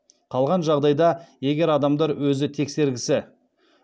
қалған жағдайда егер адамдар өзі тексергісі